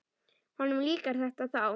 Honum líkar þetta þá.